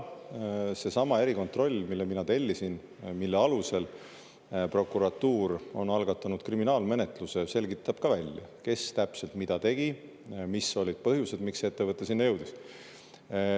Seesama erikontroll, mille mina tellisin ja mille alusel prokuratuur on algatanud kriminaalmenetluse, selgitab ka välja, kes täpselt mida tegi, mis olid põhjused, miks ettevõte sinna jõudis.